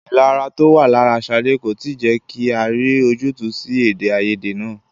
Ìlara to wá lára Ṣadé kò tí ì jẹ́ kí a rí ojútùú sí èdè-áiyedé náà.